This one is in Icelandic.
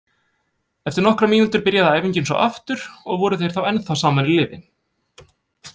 Eftir nokkrar mínútur byrjaði æfingin svo aftur og voru þeir þá ennþá saman í liði.